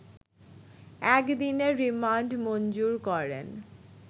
এক দিনের রিমান্ড মঞ্জুর করেন